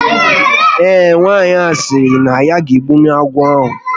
Ee, nwaanyị ahụ sịrị na ya ga egbunwu agwọ ahu